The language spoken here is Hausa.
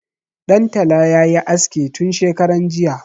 Ɗan tala ya yi aske tun shekaran jiya.